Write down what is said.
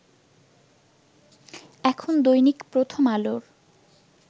এখন দৈনিক প্রথম আলোর